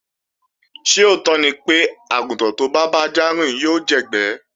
Ṣé òótọ́ ni pé, àgùntàn tó bá bájá rìn yóò jẹ́gbẹ́